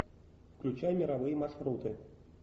включай мировые маршруты